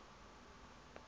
yn cheshaght ghailckagh